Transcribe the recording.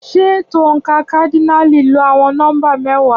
Ṣé ètò oǹkà kádínààlì lo àwọn nọ́mbà mẹ́wàá?